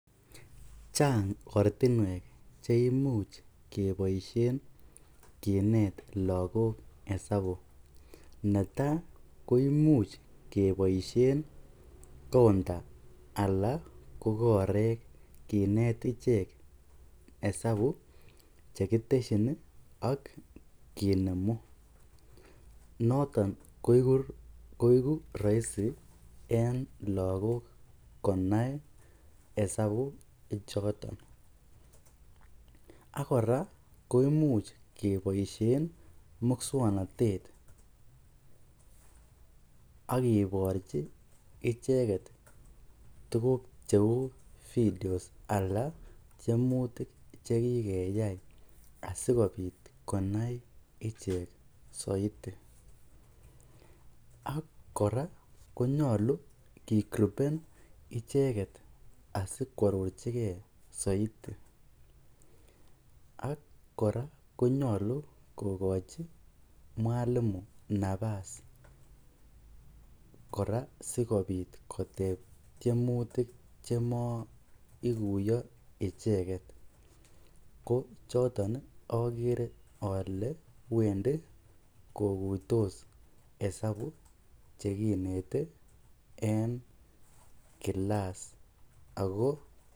Chang ortinwek cheimuch keboishen kinet lokok isabu, neta koimuch keboishen counter alaa korek kinet ichek isabu chekiteshin ak kinemu, noton koiku roisi en lokok konai isabu ichoton ak kora koimuch keboishen muswoknotet ak kiborchi icheket tukuk cheuu vidios alaa tiemutik chekikeyai asikobit koyai ichek soiti, ak kora konyolu kigruben icheket asikwororchike soiti ak kora konyolu kokochi mwalimu nabas koraa sikobit koteb tiemutik chemoikuyo icheket, ko choton okere olee wendi kokuitos isabu chekinete en kilas ak ko.